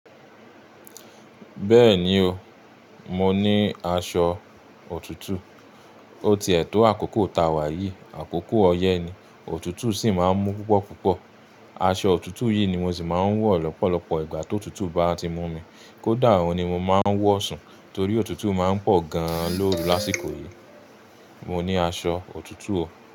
Bẹ́ẹ̀ni o, mo ní aṣọ òtútù. O tie ètò àkókò tá wá yìí, àkókò ọyẹ́ ni. Òtútù sì máa ń mú púpọ̀púpọ̀. Aṣọ òtútù yìí ni mo sì máa ń wọ̀ lọ́pọ̀lọpọ̀ ìgbà tó òtútù bá ti mú mi. Ko da òun ni mo máà ń wọ sùn torí òtútù máa ń pọ gan lóru lásìkò yí. Mo ní aṣọ òtútù o.